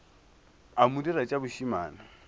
a mo dira tša bošemane